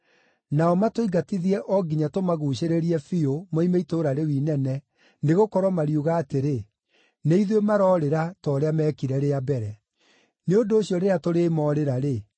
Nao matũingatithie o nginya tũmaguucĩrĩrie biũ moime itũũra rĩu inene, nĩgũkorwo mariuga atĩrĩ, ‘Nĩ ithuĩ maroorĩra ta ũrĩa meekire rĩa mbere.’ Nĩ ũndũ ũcio rĩrĩa tũrĩĩmoorĩra-rĩ,